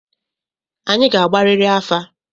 Anyị ga-agbariri afa!